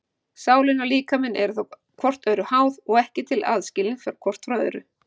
Sálin og líkaminn eru þá hvort öðru háð og ekki til aðskilin hvort frá öðru.